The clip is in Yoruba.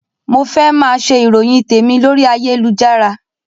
Mo fẹ́ máa ṣe ìròyìn tèmi lórí ayélujára